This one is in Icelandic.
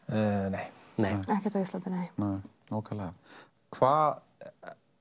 nei nei ekkert á Íslandi nei nákvæmlega hvað